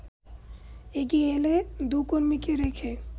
এগিয়ে এলে দু’কর্মীকে রেখে